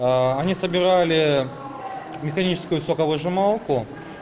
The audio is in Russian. аа они собирали механическую соковыжималку